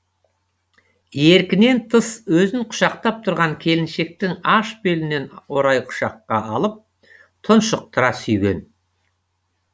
еркінен тыс өзін құшақтап тұрған келіншектің аш белінен орай құшаққа алып тұншықтыра сүйген